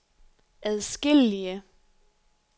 adskillige